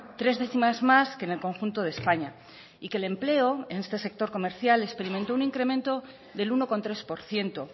tres décimas más que en el conjunto de españa y que el empleo en este sector comercial experimentó un incremento del uno coma tres por ciento